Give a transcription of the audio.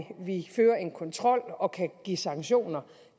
vi fører en kontrol og kan give sanktioner